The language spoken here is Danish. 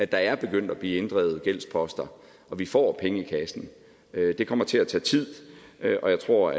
der er begyndt at blive inddrevet gældsposter og vi får penge i kassen det kommer til at tage tid og jeg tror